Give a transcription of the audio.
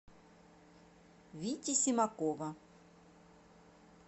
вити симакова